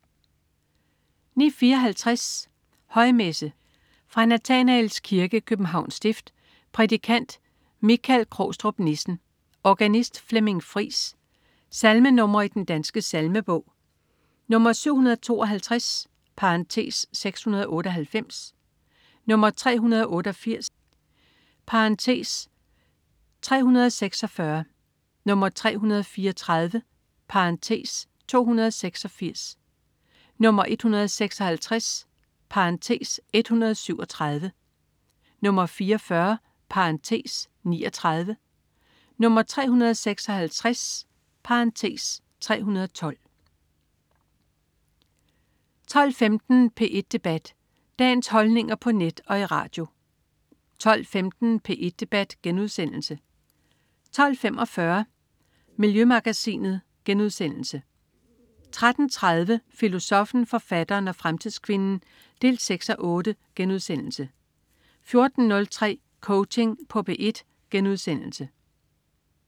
09.54 Højmesse. Fra Nathanaels Kirke, Københavns Stift. Prædikant: Michael Krogstrup Nissen. Organist: Flemming Friis. Salmenr. i Den Danske Salmebog: 752 (698), 388 (346), 334 (286), 156 (137), 44 (39), 356 (312) 12.15 P1 Debat. Dagens holdninger på net og i radio 12.15 P1 Debat* 12.45 Miljømagasinet* 13.30 Filosoffen, forfatteren og fremtidskvinden 6:8* 14.03 Coaching på P1*